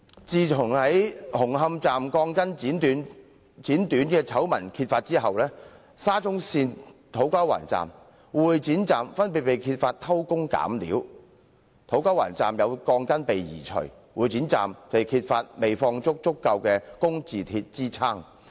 自紅磡站鋼筋被剪短的醜聞遭揭發後，沙中線土瓜灣站和會展站亦相繼被揭發偷工減料——土瓜灣站有鋼筋被移除；會展站則未放置足夠的工字鐵支撐。